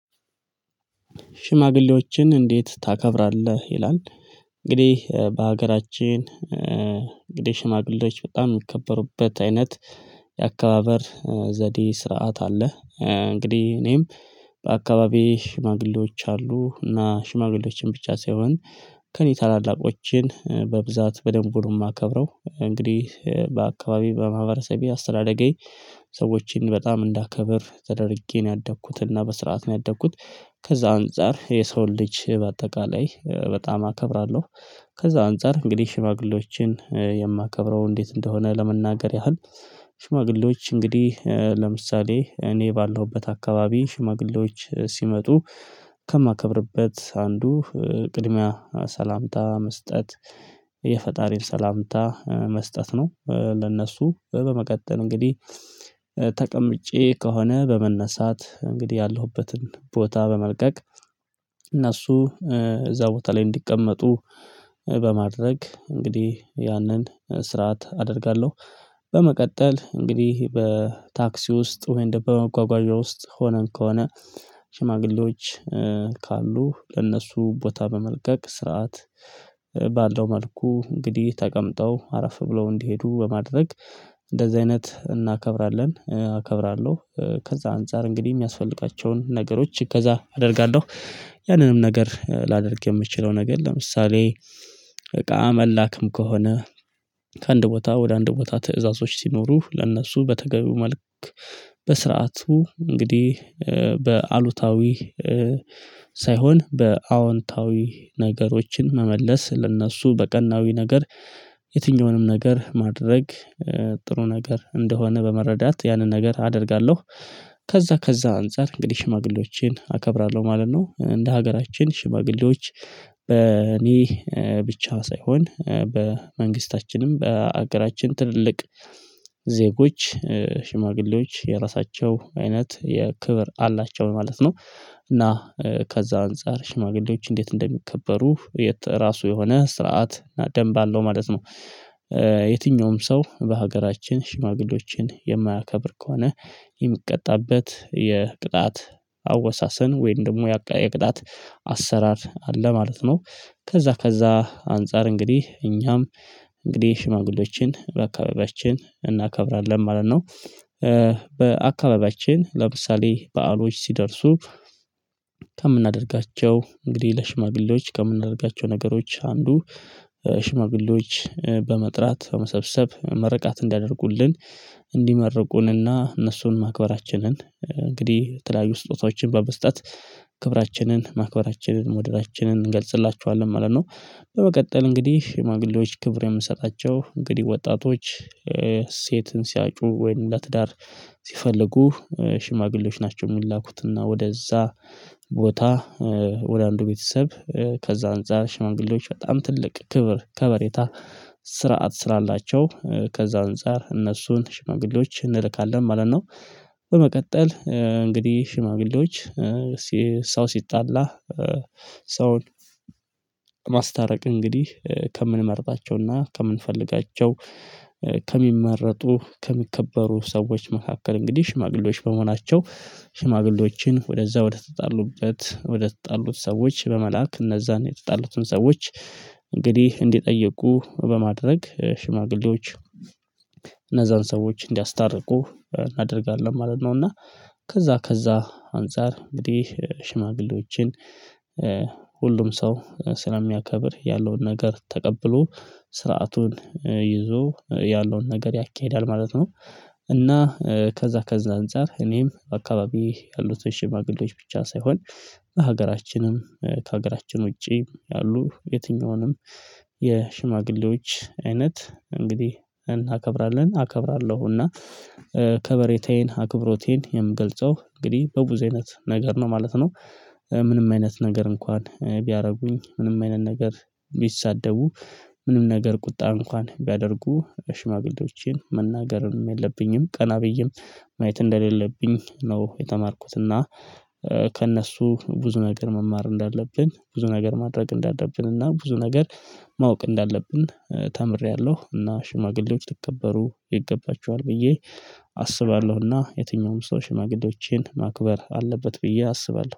ሽማግሌዎችን እንዴት ታከብራለህ ይላል? እንግዲህ በሀገራችን እንግዲህ ሽማግሌዎች በጣም የሚከበሩበት አይነት የአካባበር ዘዴ ስርዓት አለ። እንግዲህ እኔም በአካባቢዬ ሽማግሌዎች አሉ እና ሽማግሌዎችን ብቻ ሳይሆን። ከእኔ ታላላቆቼን በብዛት በደንብ ነው የማከብረው። እንግዲህ በአካባቢዬ በማህበረሰቤ አስተዳደጌ። ሰዎችን በጣም እንዳከብር ተደርጌ ነው ያደኩት እና በስርዓት ነው ያደኩት። ከዛ አንፃር የሰውን ልጅ በአጠቃላይ በጣም አከብራለሁ። ከዛ አንፃር እንግዲህ ሽማግሌዎችን የማከብረው እንዴት እንደሆነ ለመናገር ያህል። ሽማግሌዎች እንግዲህ ለምሳሌ እኔ ባለሁበት አካባቢ ሽማግሌዎች ሲመጡ ከማከብርበት አንዱ ቅድሚያ ሰላምታ መስጠት። የፈጣሪን ሰላምታ መስጠት ነው። ለእነሱ በመቀጠል እንግዲህ ተቀምጬ ከሆነ በመነሳት እንግዲህ ያለሁበትን ቦታ በመልቀቅ። እነሱ እዛ ቦታ ላይ እንዲቀመጡ በማድረግ እንግዲህ ያንን ስርዓት አደርጋለሁ። በመቀጠል እንግዲህ በታክሲ ውስጥ ወይም ደግሞ በመጓጓዣ ውስጥ ሆነን ከሆነ። ሽማግሌዎች ካሉ ለእነሱ ቦታ በመልቀቅ ስርዓት ባለው መልኩ እንግዲህ ተቀምጠው አረፍ ብለው እንዲሄዱ በማድረግ። እንደዚህ አይነት እናከብራለን አከብራለሁ። ከዛ አንፃር እንግዲህ የሚያስፈልጋቸውን ነገሮች እገዛ አደርጋለሁ። ያንንም ነገር ላደርግ የምችለው ነገር ለምሳሌ። እቃ መላክም ከሆነ። ከአንድ ቦታ ወደ አንድ ቦታ ትዕዛዞች ሲኖሩ ለእነሱ በተገቢው መልክ። በስርዓቱ እንግዲህ በአሉታዊ ሳይሆን በአዎንታዊ ነገሮችን መመለስ ለእነሱ በቀናዊ ነገር። የትኛውንም ነገር ማድረግ ጥሩ ነገር እንደሆነ በመረዳት ያንን ነገር አደርጋለሁ። ከዛ ከዛ አንፃር እንግዲህ ሽማግሌዎችን አከብራለሁ ማለት ነው። እንደ ሀገራችን ሽማግሌዎች በእኔ ብቻ ሳይሆን በመንግስታችንም በአገራችን ትልልቅ ዜጎች ሽማግሌዎች የራሳቸው አይነት የክብር አላቸው ለማለት ነው። እና ከዛ አንፃር ሽማግሌዎች እንዴት እንደሚከበሩ የራሱ የሆነ ስርዓት እና ደምብ አለው ማለት ነው። የትኛውም ሰው በሀገራችን ሽማግሌዎችን የማያከብር ከሆነ የሚቀጣበት የቅጣት አወሳሰን ወይም ደግሞ የቅጣት አሰራር አለ ማለት ነው። ከዛ ከዛ አንፃር እንግዲህ እኛም እንግዲህ ሽማግሌዎችን በአካባቢያችን እናከብራለን ማለት ነው። በአካባቢያችን ለምሳሌ በዓሎች ሲደርሱ። ከምናደርጋቸው እንግዲህ ለሽማግሌዎች ከምናደርጋቸው ነገሮች አንዱ ሽማግሌዎች በመጥራት በመሰብሰብ ምርቃት እንዲያደርጉልን እንዲመረቁንና እነሱን ማክበራችንን እንግዲህ የተለያዩ ስጦታዎችን በመስጠት ክብራችንን ማክበራችንን መውደዳችንን እንገልጽላቸዋለን ማለት ነው። በመቀጠል እንግዲህ ሽማግሌዎች ክብር የምንሰጣቸው እንግዲህ ወጣቶች ሴትን ሲያጩ ወይም ለትዳር ሲፈልጉ ሽማግሌዎች ናቸው የሚላኩትና ወደዛ ቦታ ወደ አንዱ ቤተሰብ ከዛ አንፃር ሽማግሌዎች በጣም ትልቅ ክብር ከበሬታ ስርዓት ስላላቸው ከዛ አንፃር እነሱን ሽማግሌዎች እንልካለን ማለት ነው። በመቀጠል እንግዲህ ሽማግሌዎች ሰው ሲጣላ ሰውን ማስታረቅ እንግዲህ ከምንመርጣቸውና ከምንፈልጋቸው ከሚመረጡ ከሚከበሩ ሰዎች መካከል እንግዲህ ሽማግሌዎች በመሆናቸው ሽማግሌዎችን ወደዛ ወደተጣሉበት ወደተጣሉት ሰዎች በመላክ እነዛን የተጣሉትን ሰዎች እንግዲህ እንዲጠይቁ በማድረግ ሽማግሌዎች እነዛን ሰዎች እንዲያስታርቁ እናደርጋለን ማለት ነው። እና ከዛ ከዛ አንፃር እንግዲህ ሽማግሌዎችን ሁሉም ሰው ስለሚያከብር ያለውን ነገር ተቀብሎ ስርዓቱን ይዞ ያለውን ነገር ያካሂዳል ማለት ነው። እና ከዛ ከዛ አንፃር እኔም በአካባቢዬ ያሉትን ሽማግሌዎች ብቻ ሳይሆን ሀገራችንም ከሀገራችን ውጪ ያሉ የትኛውንም የሽማግሌዎች አይነት እንግዲህ እናከብራለን አከብራለሁና እና ከበሬታዬን አክብሮቴን የምገልጸው እንግዲህ በብዙ አይነት ነገር ነው ማለት ነው። ምንም አይነት ነገር እንኳን ቢያደርጉኝ ምንም አይነት ነገር ቢሳደቡ ምንም ነገር ቁጣ እንኳን ቢያደርጉ ሽማግሌዎችን መናገርም የለብኝም ቀና ብዬም ማየት እንደሌለብኝ ነው የተማርኩት። እና ከእነሱ ብዙ ነገር መማር እንዳለብን ብዙ ነገር ማድረግ እንዳለብን እና ብዙ ነገር ማወቅ እንዳለብን ተምሬያለሁ። እና ሽማግሌዎች ሊከበሩ ይገባቸዋል ብዬ አስባለሁና የትኛውም ሰው ሽማግሌዎችን ማክበር አለበት ብዬ አስባለሁ